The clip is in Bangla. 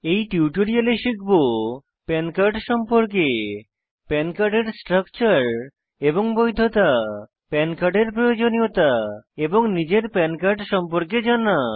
এই টিউটোরিয়ালে শিখব পান কার্ড সম্পর্কে পান কার্ডের স্ট্রাকচার এবং বৈধতা পান কার্ডের প্রয়োজনীয়তা এবং নিজের পান কার্ড সম্পর্কে জানা